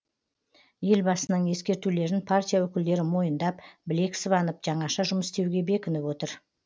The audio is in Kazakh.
елбасының ескертулерін партия өкілдері мойындап білек сыбанып жаңаша жұмыс істеуге бекініп отыр